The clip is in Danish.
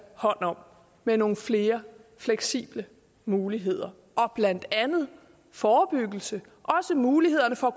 hånd om med nogle flere fleksible muligheder og blandt andet forebyggelse og også mulighederne for